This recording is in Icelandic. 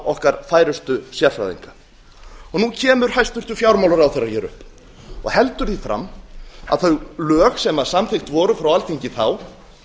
okkar færustu sérfræðinga nú kemur hæstvirtur fjármálaráðherra hér upp og heldur því fram að þau lög sem samþykkt voru frá alþingi þá